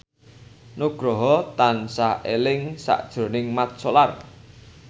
Nugroho tansah eling sakjroning Mat Solar